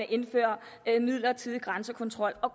indføre en midlertidig grænsekontrol og